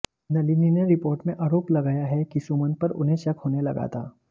नलिनी ने रिपोर्ट में आरोप लगाया है कि सुमंत पर उन्हें शक होने लगा था